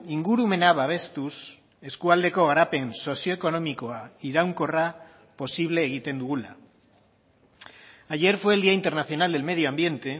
ingurumena babestuz eskualdeko garapen sozioekonomikoa iraunkorra posible egiten dugula ayer fue el día internacional del medio ambiente